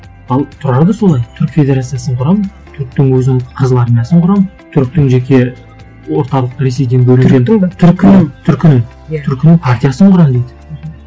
ал тұрар да солай түрік федерациясын құрамын түріктің өзінің қызыл армиясын құрамын түріктің жеке орталық ресейден бөлек түріктің бе түркінің түркінің иә түркінің партиясын құрамын дейді мхм